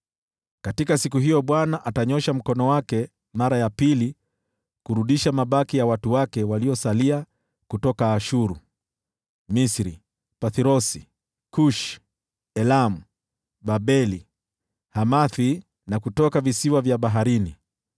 Katika siku hiyo Bwana atanyoosha mkono wake mara ya pili kurudisha mabaki ya watu wake waliosalia kutoka Ashuru, Misri, Pathrosi, Kushi, Elamu, Babeli, Hamathi na kutoka visiwa vya baharini.